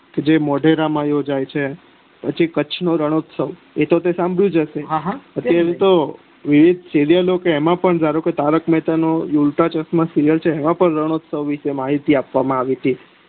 કે જે મોઢેરા માં યોજાય છે પછી કચ્છ નો રણનોસ્ત્વ એ તો તે સાંભળ્યું છે ને તો વિવિધ ખેલીયા લોકો એમાં પણ ધારોકે તારક મહેતા કા ઉલટા ચશ્માં સીરીયલ છે એમાં પણ રનનોસ્ત્વ ની માહિતી આપવાવા માં આવી હતી